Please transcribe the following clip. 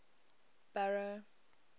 barrow